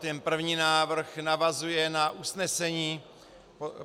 Ten první návrh navazuje na usnesení